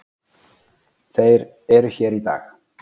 Þeir eru hér í dag.